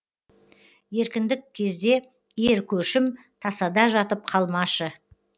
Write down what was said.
еркіндік кезде ер көшім тасада жатып қалмашы